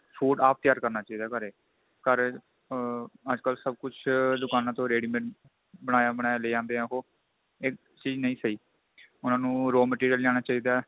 food ਆਪ ਤਿਆਰ ਕਰਨਾ ਚਾਹੀਦਾ ਘਰੇ ਘਰ ਆ ਅੱਜਕਲ ਸਭ ਕੁੱਝ ਦੁਕਾਨਾ ਤੋਂ readymade ਬਣਾਇਆ ਬਣਾਇਆ ਲੈ ਆਂਦੇ ਏ ਉਹ ਇਹ ਚੀਜ ਨਹੀਂ ਸਹੀ ਉਹਨਾ ਨੂੰ raw material ਲਿਆਣਾ ਚਾਹੀਦਾ